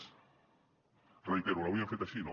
ho reitero l’hauríem fet així no